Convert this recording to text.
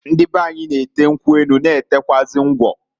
Ndị beanyi na-ete nkwu enu, na etekwuazị ngwọ.